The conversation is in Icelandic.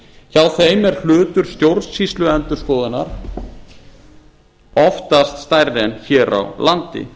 hjá þeim er hlutur stjórnsýsluendurskoðunar oftast stærri en hér á landi